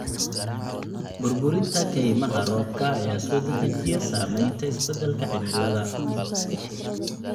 Burburinta kaymaha roobka ayaa soo dedejiya saamaynta isbeddelka cimilada.